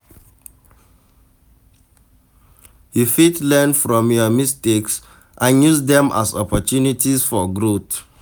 You fit learn from your mistakes and use dem as opportunities for growth.